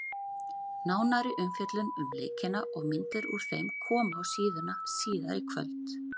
Nánari umfjöllun um leikina og myndir úr þeim koma á síðuna síðar í kvöld.